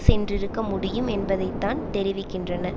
சென்றிருக்க முடியும் என்பதைத்தான் தெரிவிக்கின்றன